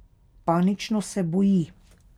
Panično se boji.